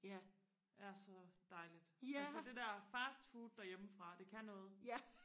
er så dejligt altså det der fastfood derhjemme fra det kan noget